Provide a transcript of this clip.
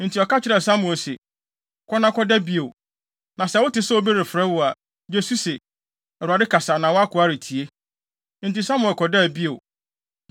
Enti ɔka kyerɛɛ Samuel se, “Kɔ na kɔda bio, na sɛ wote sɛ obi refrɛ wo a, gye so se, ‘ Awurade kasa na wʼakoa retie.’ ” Enti Samuel kɔdaa bio.